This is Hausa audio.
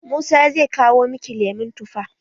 Musa zai kawo miki lemon tufa.